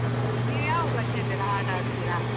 ನೀವು ಯಾವ ಭಾಷೆಯದ್ದೆಲ್ಲ ಹಾಡ್ ಹಾಡ್ತೀರಾ?